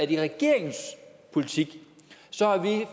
i regeringens politik